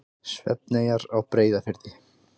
Svefneyjar á Breiðafirði.